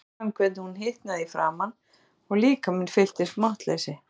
Kamilla fann hvernig hún hitnaði í framan og líkaminn fylltist máttleysi.